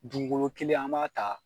Dugukolo kelen an b'a ta